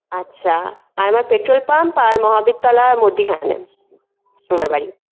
আচ্ছা আর আমার petrol pump আর মহাবীর তলার মধ্যিখানে আমার বাড়ি